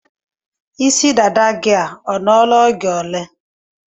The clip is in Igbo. Isi dada gị ọ nọ la oge ole?